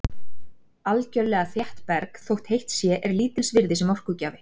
Algjörlega þétt berg, þótt heitt sé, er lítils virði sem orkugjafi.